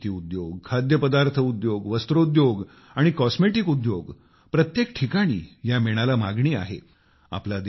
औषध निर्मिती उद्योग खाद्यपदार्थ उद्योग वस्त्रोद्योग आणि कॉस्मेटिक उद्योग प्रत्येक ठिकाणी या मेणाला मागणी आहे